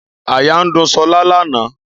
Àyà ń dún ṣọlá lánàá